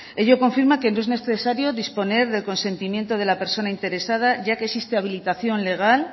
ello confirma que no es necesario disponer del consentimiento de la persona interesada ya que existe habilitación legal